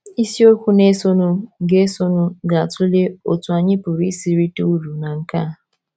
Isiokwu na - esonụ ga - esonụ ga - atụle otú anyị pụrụ isi rite uru ná nkea.